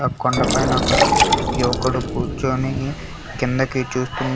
కొండపైన ఒక యువకుడు కూర్చొని కిందకి చూస్తున్న--